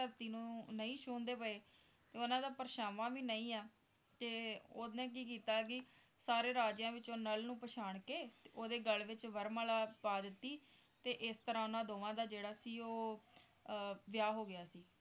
ਧਰਤੀ ਨੂੰ ਨਹੀਂ ਛੂਹੰਦੇ ਪਏ ਤੇ ਉਹਨਾਂ ਦਾ ਪਰਛਾਵਾਂ ਵੀ ਨਹੀਂ ਹੈ ਤੇ ਉਹਨੇਂ ਕੀ ਕੀਤਾ ਕਿ ਸਾਰੇ ਰਾਜਿਆਂ ਵਿਚੋਂ ਨਲ ਨੂੰ ਪਛਾਣ ਕੇ ਓਹਦੇ ਗੱਲ ਵਿਚ ਵਰਮਾਲਾ ਪਾ ਦਿੱਤੀ ਤੇ ਇਸ ਤਰ੍ਹਾਂ ਉਹਨਾਂ ਦੋਵਾਂ ਦਾ ਜਿਹੜਾ ਸੀ ਓ ਅਹ ਵਿਆਹ ਹੋ ਗਿਆ ਸੀ